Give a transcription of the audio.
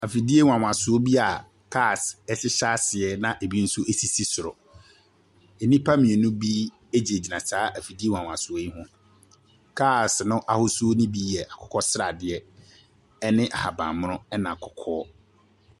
Afidie nwanwasoɔ bi a cars hyehyɛ aseɛ na ebi nso sisi soro. Nnipa mmienu bi gyinagyina saa afidie nwanwasoɔ yi ho. Cars no ahosuo no bi yɛ akokɔ sradeɛ ne ahaban mono, ɛnna kɔkɔɔ.